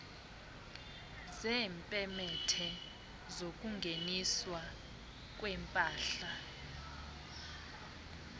zeepemethe zokungeniswa kwempahla